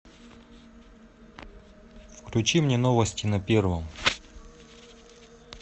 включи мне новости на первом